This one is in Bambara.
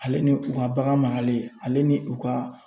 Ale ni u ka bagan maralen ale ni u ka